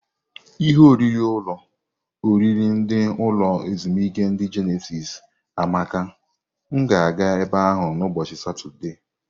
Ihe oriri ulo oriri ndi ulo ezimuike ndi Jenesis amaka m ga aga ebe ahu na ubochi satode.